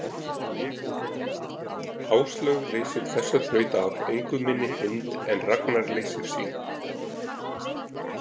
Áslaug leysir þessa þraut af engu minni hind en Ragnar leysir sína.